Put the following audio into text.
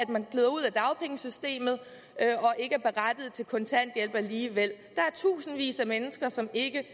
man glider ud af dagpengesystemet og til kontanthjælp alligevel der er tusindvis af mennesker som ikke